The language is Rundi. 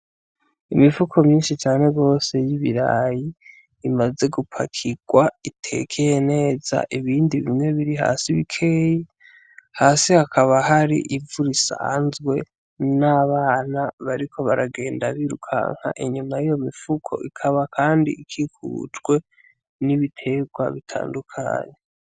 Imifuko myinshi cane gose y'ibiraya imaze gupakirwa itekeye neza, ibindi bimwe biri hasi bikeyi, hasi hakaba hari ivu risanzwe n'abana bariko bagenda birukanga inyuma y'iyo mifuko, ikaba kandi ikikujwe n'ibiterwa bitandukanye.